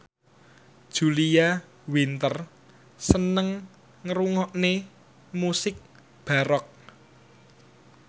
Julia Winter seneng ngrungokne musik baroque